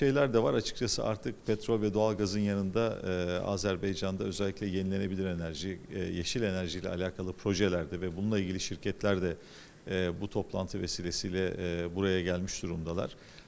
Açıqcası artıq neft və təbii qazın yanında eee Azərbaycanda xüsusilə bərpa olunan enerji, eee yaşıl enerji ilə bağlı layihələrdə və bununla bağlı şirkətlər də eee bu toplantı vasitəsilə eee buraya gəlmiş durumdalar.